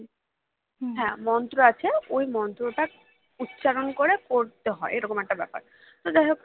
হ্যাঁ মন্ত্র আছে ওই মন্ত্রটা উচ্চারণ করে পড়তে হয় এরকম একটা ব্যাপার তো যাই হোক